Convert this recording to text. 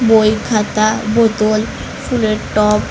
বই খাতা বোতল ফুলের টব--